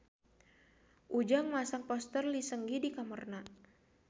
Ujang masang poster Lee Seung Gi di kamarna